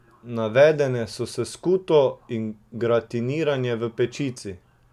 Nadevane so s skuto in gratinirane v pečici.